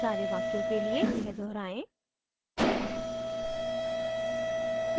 सारे वाक्यों के लिए यह दोहराएं